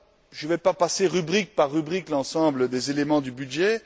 Je ne vais pas passer en revue rubrique par rubrique l'ensemble des éléments du budget.